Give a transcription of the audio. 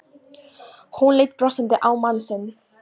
Hún leit brosandi á mann sinn.